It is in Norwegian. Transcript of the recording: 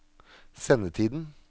sendetiden